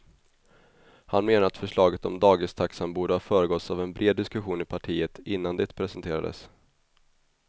Han menar att förslaget om dagistaxan borde ha föregåtts av en bred diskussion i partiet innan det presenterades.